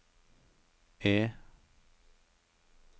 E